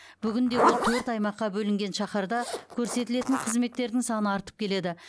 бүгінде ол төрт аймаққа бөлінген шаһарда көрсетілетін қызметтердің саны артып келеді